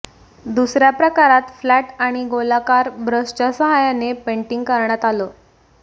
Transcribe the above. दुसऱ्या प्रकारात फ्लॅट आणि गोलाकार ब्रशच्या सहाय्याने पेंटिंग करण्यात आलं